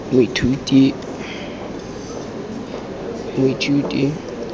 moithuti